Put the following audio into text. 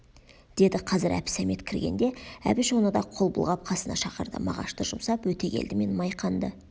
деді қазір әбсәмет кіргенде әбіш оны да қол бұлғап қасына шақырды мағашты жұмсап өтегелді мен майқанды